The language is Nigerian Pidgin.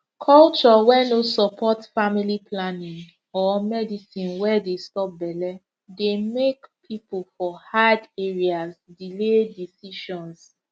culture wey no support family planning or medicine wey dey stop belle dey make people for hard areas delay decisions